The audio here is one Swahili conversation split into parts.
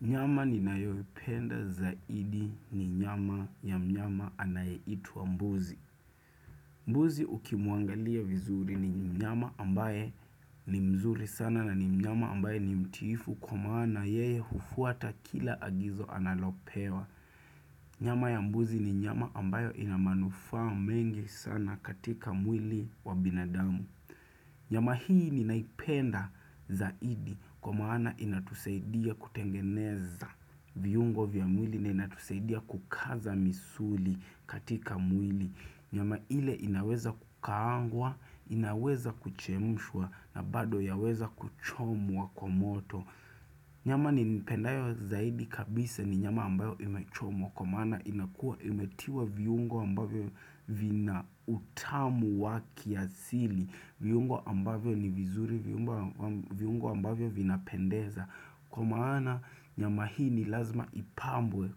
Nyama ninayoipenda zaidi ni nyama ya mnyama anayeitwa mbuzi. Mbuzi uki muangalia vizuri ni nyama ambaye ni mzuri sana na ni nyama ambaye ni mtifu kwa maana yeye hufuata kila agizo analopewa. Nyama ya mbuzi ni nyama ambayo inamanufa mengi sana katika mwili wa binadamu. Nyama hii ni naipenda zaidi kwa maana inatusaidia kutengeneza viyungo vya mwili na inatusaidia kukaza misuli katika mwili. Nyama ile inaweza kukaangwa, inaweza kuchemshwa na bado yaweza kuchomwa kwa moto. Nyama ni pendayo zaidi kabisa ni nyama ambayo imechomo kwa maana inakua imetiwa viungo ambayo vina utamu wakiasili, viungo ambayo ni vizuri, viungo ambayo vinapendeza. Kwa maana nyama hii ni lazima ipambwe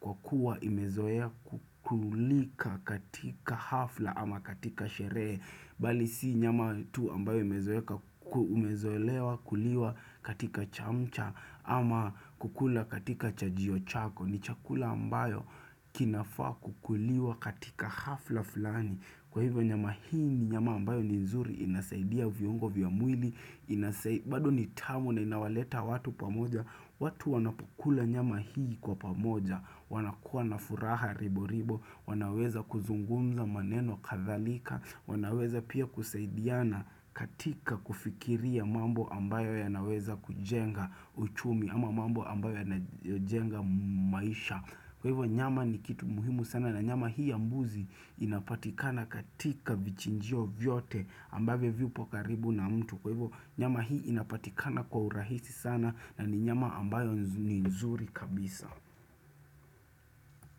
kwa kuwa imezoea kukulika katika hafla ama katika sheree Bali si nyama tu ambayo imezoea kukuliwa katika chamcha ama kukula katika chajio chako ni chakula ambayo kinafaa kukuliwa katika hafla fulani Kwa hivyo nyama hii ni nyama ambayo ni nzuri inasaidia viungo viamwili bado ni tamu na inawaleta watu pamoja watu wanapokula nyama hii kwa pamoja wanakuwa na furaha ribo ribo wanaweza kuzungumza maneno kathalika wanaweza pia kusaidiana katika kufikiria mambo ambayo yanaweza kujenga uchumi Ama mambo ambayo ya najenga maisha Kwa hivyo nyama ni kitu muhimu sana na nyama hii ambuzi inapatikana katika vichinjio vyote ambavo viupo karibu na mtu Kwa hivyo nyama hii inapatikana kwa urahisi sana na ni nyama ambayo ni nzuri kabisa.